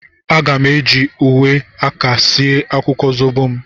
A ga m eji uwe aka sie akwukwo zobo m.